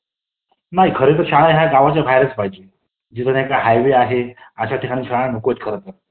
नाही खरतर शाळा ह्या गावाच्या बाहेरच पाहिजेत, जिकडे हायवे आहे तिकडे शाळा नकोत खरंतर .